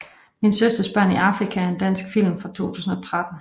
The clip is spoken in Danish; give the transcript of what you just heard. Min søsters børn i Afrika er en dansk film fra 2013